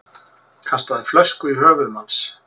Kastaði flösku í höfuð manns